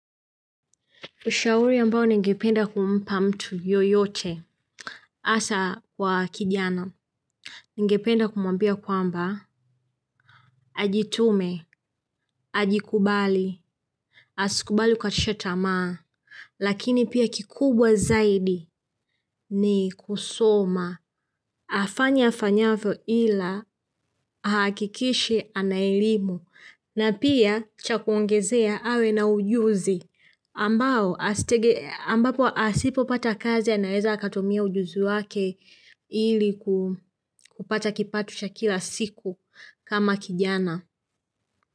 Ushauri ambao ningependa kumpa mtu yoyote, hasa kwa kijana. Ningependa kumwambia kwamba, ajitume, ajikubali. Asikubali kukatisha tamaa, lakini pia kikubwa zaidi ni kusoma. Afanye afanyavyo ila ahakikishe ana elimu, na pia cha kuongezea awe na ujuzi. Ambapo asipopata kazi anaeza akatumia ujuzi wake ili kupata kipato cha kila siku kama kijana.